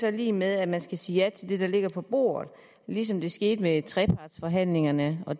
er lig med at man skal sige ja til det der ligger på bordet ligesom det skete ved trepartsforhandlingerne og